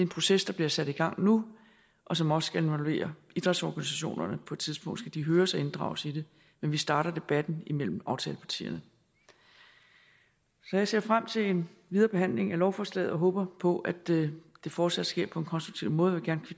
proces der bliver sat i gang nu og som også skal involvere idrætsorganisationerne på et tidspunkt skal de høres og inddrages i det men vi starter debatten imellem aftalepartierne så jeg ser frem til en videre behandling af lovforslaget og håber på at det fortsat sker på en konstruktiv måde og jeg